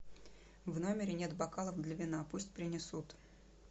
в номере нет бокалов для вина пусть принесут